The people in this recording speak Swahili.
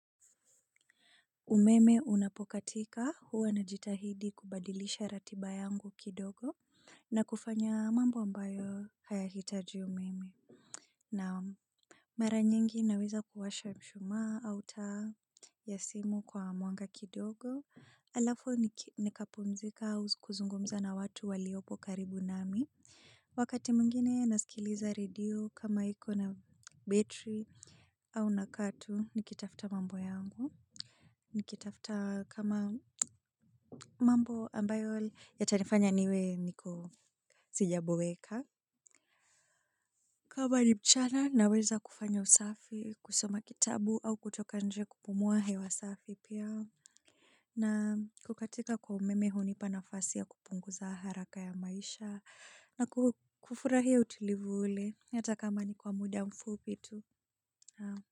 Umeme unapokatika huwa najitahidi kubadilisha ratiba yangu kidogo na kufanya mambo ambayo hayahitaji umeme. Naam. Mara nyingi naweza kuwasha mshuma au taa ya simu kwa mwanga kidogo. Alafu nikapumzika au kuzungumza na watu waliopo karibu nami. Wakati mwingine nasikiliza radio kama iko na battery au nakaa tu nikitafuta mambo yangu. Nikitafuta kama mambo ambayo yatanifanya niwe niko sijaboeka. Kama ni mchana naweza kufanya usafi kusoma kitabu au kutoka nje kupumua hewa safi pia. Na kukatika kwa umeme hunipa nafasi ya kupunguza haraka ya maisha na kufurahia utulivu ule hata kama ni kwa muda mfupi tu naam.